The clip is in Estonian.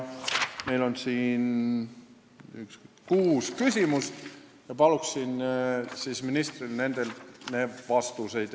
Meil on siin kuus küsimust ja palun ministrilt nendele vastuseid.